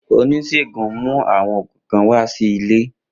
Onisegun mu awọn oogun kan wa si ile.